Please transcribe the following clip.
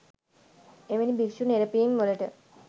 එවැනි භික්‍ෂු නෙරපීම් වලට